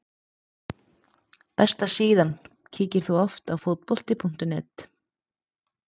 Besta heimasíðan Kíkir þú oft á Fótbolti.net?